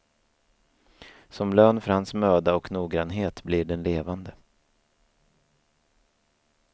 Som lön för hans möda och noggrannhet blir den levande.